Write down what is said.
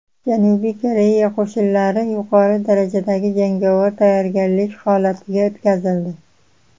Janubiy Koreya qo‘shinlari yuqori darajadagi jangovar tayyorgarlik holatiga o‘tkazildi.